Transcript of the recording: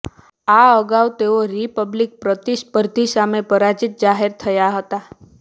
આ અગાઉ તેઓ રિપબ્લિકન પ્રતિસ્પર્ધી સામે પરાજિત જાહેર થયા હતા